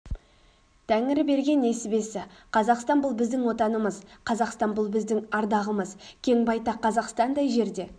тәңірі берген несібесі қазақстан бұл біздің отанымыз қазақстан бұл біздің ардағымыз кең байтақ қазақстандай жерде